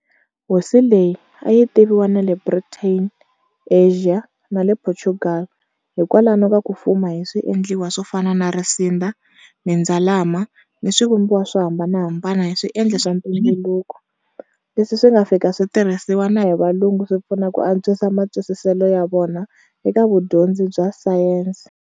Hosi leyi, a yi tiviwa na le Britain, Asia, na le Portugal, hi kwalano ka ku fuma hi swiendliwa swo fana na risinda, mindzalama, ni swivumbiwa swo hambanahambana hi swiendli swa ntumbuluko, leswi swi nga fika swi tirhisiwa na hi valungu swi pfuna ku antswisa matwisiselo ya vona eka vudyondzi bya"science".